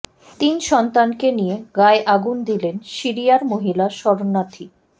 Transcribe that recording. তিন সন্তানকে নিয়ে গায়ে আগুন দিলেন সিরিয়ার মহিলা শরণার্থী